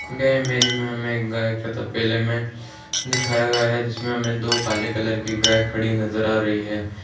यह इमेज मे हमे गाये के तबेले में दिखाया गया है। जिसमे हमे दो काले कलर की गाय खड़ी नज़र आ रही है।